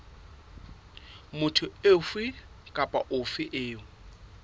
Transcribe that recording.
motho ofe kapa ofe eo